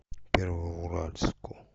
первоуральску